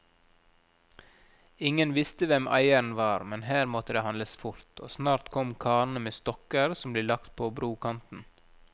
Ingen visste hvem eieren var, men her måtte det handles fort, og snart kom karene med stokker som ble lagt på brokanten.